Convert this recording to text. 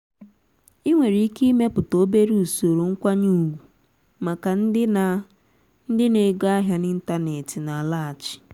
ị nwèrè iké imépùta obere ùsòrò nkwányé ùgwù màkà ndị na ndị na ego ahịa n'ịntanetị na-àlaghàchi.